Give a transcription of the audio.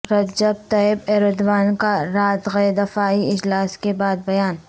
رجب Tayyip Erdogan کا رات گئے دفاعی اجلاس کے بعد بیان